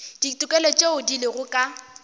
ditokelo tšeo di lego ka